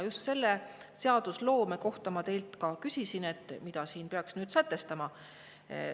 Just selle seadusloome kohta ma teilt küsisin, et mida siis peaks nüüd sätestama.